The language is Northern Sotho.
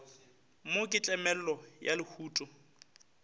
mo ke tlemollo ya lehuto